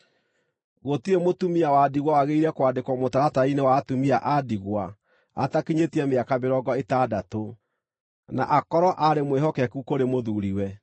Gũtirĩ mũtumia wa ndigwa wagĩrĩire kwandĩkwo mũtaratara-inĩ wa atumia a ndigwa atakinyĩtie mĩaka mĩrongo ĩtandatũ, na akorwo aarĩ mwĩhokeku kũrĩ mũthuuri-we,